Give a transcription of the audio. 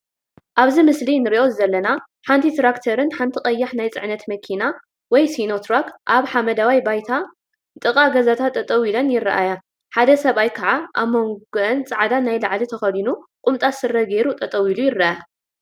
አብዚ ምስሊ እንሪኦ ዘለና ሓንቲ ትራክተርን ሓንቲ ቀያሕ ናይ ፅነት መኪና/ሲኖ ትራክ/አብ ሓመደዋይ ባይታን ጥቃ ገዛታት ጠጠወ ኢለን ይረአያ፡፡ ሓደ ሰብአይ ከዓ አብ መንጎአን ፃዕዳ ናይ ላዕሊ ተከዲኑ ቁምጣ ስረ ገይሩ ጠጠው ኢሉ ይርአ፡፡